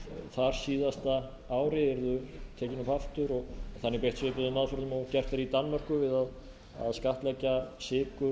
þarsíðasta ári yrði tekinn upp aftur og þannig beitt svipuðum áhrifum og gert er í danmörku við að skattleggja sykur